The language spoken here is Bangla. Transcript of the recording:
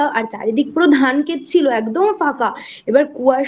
আর চারিদিক পুরো ধানক্ষেত ছিল একদম ফাঁকা এবার কুয়াশা চারি